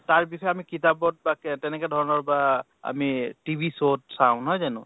তাৰ বিষয়ে আমি কিতাপত বা কে তেনেকুৱা ধৰণৰ বা আমি TV show ত চাওঁ, নহয় জানো?